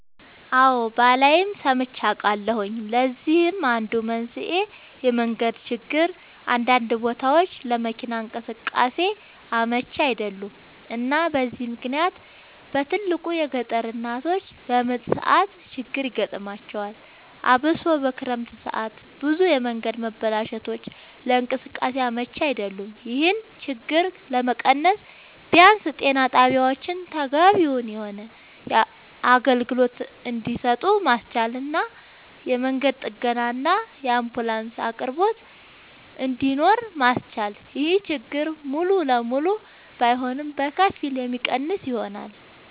አወ ባላይም ሰምቼ አውቃለሁኝ ለዚህም አንዱ መንስኤ የመንገድ ችግር አንዳንድ ቦታወች ለመኪና እንቅስቃሴ አመች አይደሉም እና በዚህ ምክንያት በትልቁ የገጠር እናቶች በምጥ ሰዓት ችግር ይገጥማቸዋል አብሶ በክረምት ሰዓት ብዙ የመንገድ መበላሸቶች ለእንቅስቃሴ አመች አይደሉም ይሄን ችግር ለመቀነስ ቢያንስ ጤና ጣቢያወችን ተገቢውን የሆነ አገልግሎት እንድሰጡ ማስቻልና የመንገድ ጥገናና የአንቡላንስ አቅርቦት እንድኖር ማስቻል ይሄን ችግር ሙሉ ለሙሉ ባይሆንም በከፊል የሚቀንሰው ይሆናል